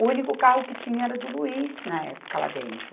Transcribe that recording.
O único carro que tinha era do Luiz, na época, lá dentro.